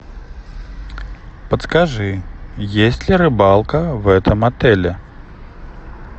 подскажи есть ли рыбалка в этом отеле